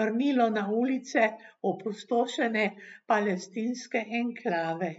vrnilo na ulice opustošene palestinske enklave.